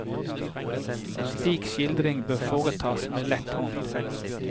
Slik skildring bør foretas med lett hånd.